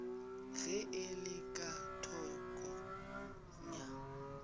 ge e le ka thokongya